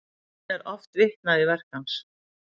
Enn er oft vitnað í verk hans.